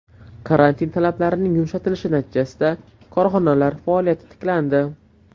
Karantin talablarining yumshatilishi natijasida korxonalar faoliyati tiklandi.